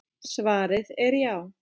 Svarið er já.